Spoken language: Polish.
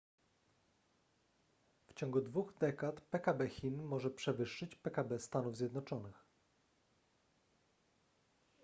w ciągu dwóch dekad pkb chin może przewyższyć pkb stanów zjednoczonych